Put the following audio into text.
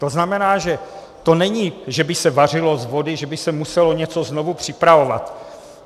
To znamená, že to není, že by se vařilo z vody, že by se muselo něco znovu připravovat.